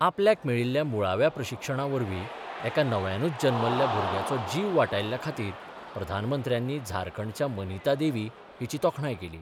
आपल्याक मेळील्ल्या मुळाव्या प्रशिक्षणावरवी एका नव्यानूज जल्मल्ल्या भूरग्याचो जीव वाटायल्ल्या खातीर प्रधानमंत्र्यानी झारखंडच्या मनीता देवी हिची तोखणांय केली.